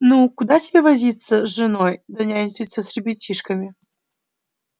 ну куда тебе возиться с женой да нянчиться с ребятишками